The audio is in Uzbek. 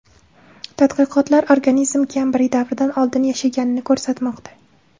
Tadqiqotlar organizm Kembriy davridan oldin yashaganini ko‘rsatmoqda.